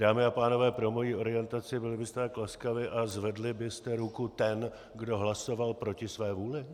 Dámy a pánové, pro moji orientaci, byli byste tak laskavi, a zvedli byste ruku ten, kdo hlasoval proti své vůli?